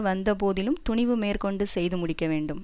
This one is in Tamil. வந்த போதிலும் துணிவு மேற்கொண்டு செய்து முடிக்க வேண்டும்